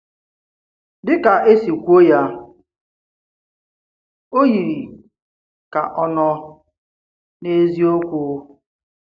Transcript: Dị kà esi kwuo ya, ọ̀ yiri kà ọ̀ nọ n’eziokwu.